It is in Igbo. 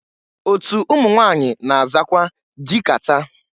Otu ụmụnwanyị na-azakwa dị kata.